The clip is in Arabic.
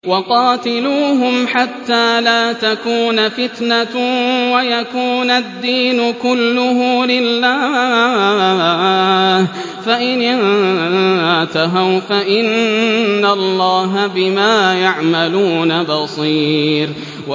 وَقَاتِلُوهُمْ حَتَّىٰ لَا تَكُونَ فِتْنَةٌ وَيَكُونَ الدِّينُ كُلُّهُ لِلَّهِ ۚ فَإِنِ انتَهَوْا فَإِنَّ اللَّهَ بِمَا يَعْمَلُونَ بَصِيرٌ